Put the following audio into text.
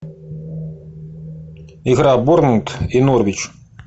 игра борнмут и норвич